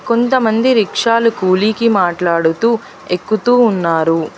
కొంతమంది వృక్షాలు కూలీకి మాట్లాడుతూ ఎక్కుతూ ఉన్నారు